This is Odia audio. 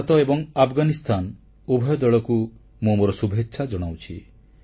ଭାରତ ଏବଂ ଆଫଗାନିସ୍ଥାନ ଉଭୟ ଦଳକୁ ମୁଁ ମୋର ଶୁଭେଚ୍ଛା ଜଣାଉଛି